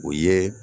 O ye